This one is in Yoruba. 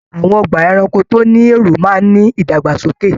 Àwọn ọgbà ẹranko tó ní èrò máa ní ìdàgbàsókè.